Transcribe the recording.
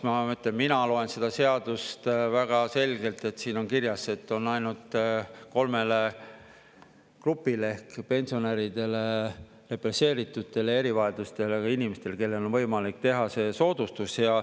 Ma mõtlen, et mina loen seda seadust väga selgelt, et siin on kirjas, et on ainult kolmele grupile ehk pensionäridele, represseeritutele ja erivajadustega inimestele, kellele on võimalik teha see soodustus.